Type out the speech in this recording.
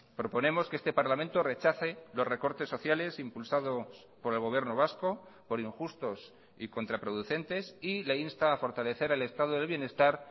proponemos que este parlamento rechace los recortes sociales impulsados por el gobierno vasco por injustos y contraproducentes y le insta a fortalecer el estado del bienestar